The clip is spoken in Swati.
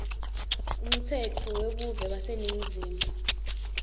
umtsetfo webuve waseningizimu